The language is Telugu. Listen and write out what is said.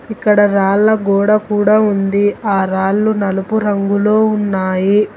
ఇక్కడ రాళ్ల గోడ కూడా ఉంది ఆ రాళ్లు నలుపు రంగులో ఉన్నాయి.